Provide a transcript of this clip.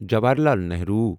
Jawaharlal Nehru